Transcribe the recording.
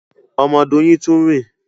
Ọmọ Doyin tun rìn.